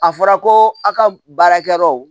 A fɔra ko a ka baarakɛyɔrɔ